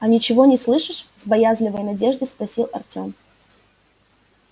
а ничего не слышишь с боязливой надеждой спросил артём